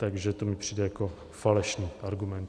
Takže to mi přijde jako falešný argument.